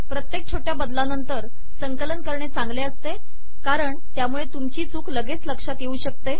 प्रत्येक छोट्या बदलानंतर संकलन करणे चांगले असते कारण त्यामुळे तुमची चूक लगेच लक्षात येऊ शकते